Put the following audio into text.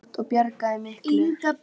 Það var auðsótt og bjargaði miklu.